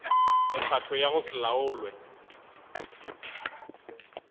mekgatlo ya go se laolwe